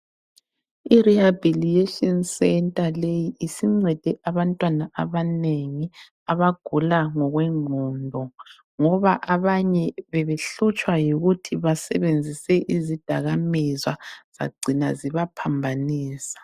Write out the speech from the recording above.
Irehabilitation centre leyi isincede abantwana abanengi abagula ngokwengqondo ngoba abanye bebehlutshwa yikuthi basebenzise izidakamizwa zagcina zibaphambanisa.